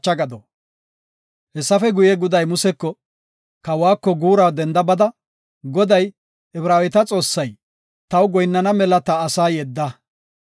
Hessafe guye, Goday Museko, “Kawako guura denda bada, ‘Goday, Ibraaweta Xoossay, taw goyinnana mela ta asaa yedda.